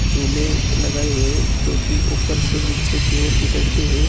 झूले लगाये हुए जो कि ऊपर से नीचे की ओर घिसड़ते हुए --